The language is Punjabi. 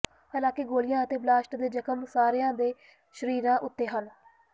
ਹਾਲਾਂਕਿ ਗੋਲੀਆਂ ਅਤੇ ਬਲਾਸਟ ਦੇ ਜ਼ਖ਼ਮ ਸਾਰਿਆਂ ਦੇ ਸਰੀਰਾਂ ਉੱਤੇ ਹਨ